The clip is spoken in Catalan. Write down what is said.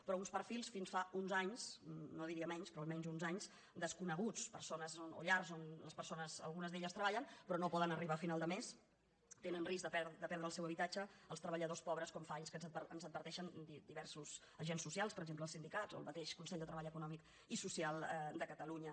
però uns perfils fins fa uns anys no diria menys però almenys uns anys desconeguts persones o llars on les persones algunes d’elles treballen però no poden arribar a final de mes tenen risc de perdre el seu habitatge els treballadors pobres com fa anys que ens adverteixen diversos agents socials per exemple els sindicats o el mateix consell de treball econòmic i social de catalunya